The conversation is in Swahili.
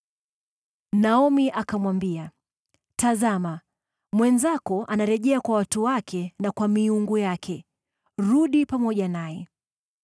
Naomi akamwambia, “Tazama, mwenzako anarejea kwa watu wake na kwa miungu yake. Rudi pamoja naye.”